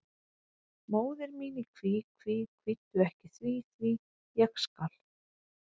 Móðir mín í kví, kví, kvíddu ekki því, því, ég skal.